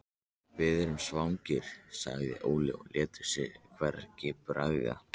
Við vorum svangir, sagði Óli og lét sér hvergi bregða.